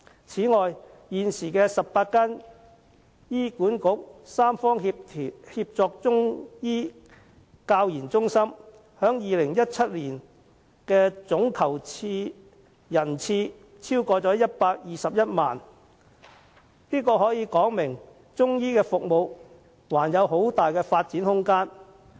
此外，現時的18間醫管局三方協作中醫教研中心，在2017年的總求診人數超過121萬人次，可見中醫服務還有很大的發展空間。